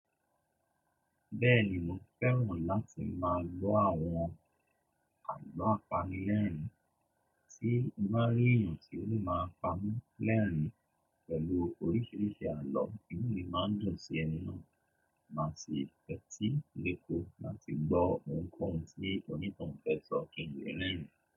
Bẹ́ẹ̀ni mo fẹ́ràn láti máa gbọ́ àwọn àgbọ́ apanilẹ́rìn-ín, Tí mo bá rí èeyàn tí ó lè máa pami lẹ́rìn-ín pẹ̀lú oríṣiríṣi àlọ́, inú mi máa ń dùn sí ẹni náà, màá sì tetí léko láti gbọ́ ohunkóhun tí onítohun fẹ́ sọ kí ń le rérìn-ín.